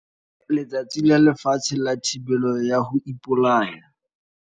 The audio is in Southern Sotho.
Letsatsi la Lefatshe la Thibelo ya ho ipolaya.